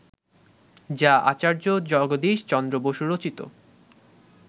যা আচার্য জগদীশ চন্দ্র বসু রচিত